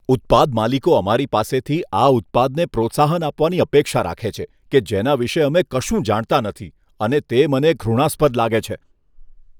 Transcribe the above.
ઉત્પાદ માલિકો અમારી પાસેથી આ ઉત્પાદને પ્રોત્સાહન આપવાની અપેક્ષા રાખે છે કે જેના વિશે અમે કશું જાણતા નથી અને તે મને ઘૃણાસ્પદ લાગે છે.